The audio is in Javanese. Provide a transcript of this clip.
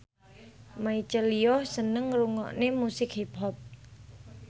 Michelle Yeoh seneng ngrungokne musik hip hop